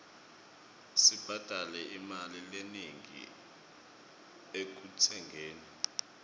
sibhadale imali lenengi ekutsengeni